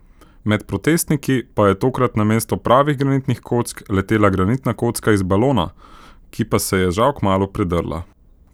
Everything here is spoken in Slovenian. Med protestniki pa je tokrat namesto pravih granitnih kock letela granitna kocka iz balona, ki pa se je žal kmalu predrla.